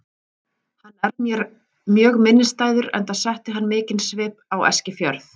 Hann er mér mjög minnisstæður enda setti hann mikinn svip á Eskifjörð.